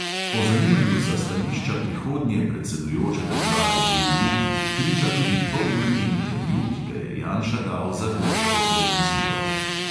O zanimanju za stališča prihodnje predsedujoče države EU priča tudi polurni intervju, ki ga je janša dal za grško televizijo.